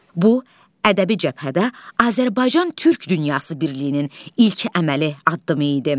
Bu ədəbi cəbhədə Azərbaycan-Türk dünyası birliyinin ilk əməli addımı idi.